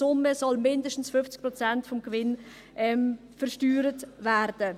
Deshalb müssen beide Instrumente zusammen betrachtet werden.